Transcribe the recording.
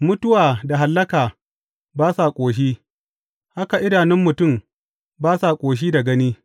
Mutuwa da Hallaka ba sa ƙoshi, haka idanun mutum ba sa ƙoshi da gani.